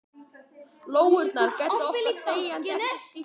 Lóurnar gæta okkar þegjandi eftir að skyggir.